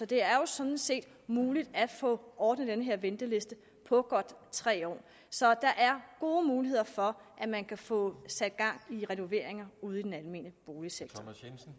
det er jo sådan set muligt at få ordnet den her venteliste på godt tre år så der er gode muligheder for at man kan få sat gang i renoveringer ude i den almene boligsektor